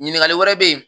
Ɲininkali wɛrɛ bɛ yen